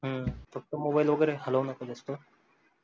हम्म फक्त मोबाईल वगैरे हालवु नका जास्त